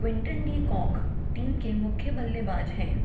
Quinton de Kock team के मुख्य बल्लेबाज हैं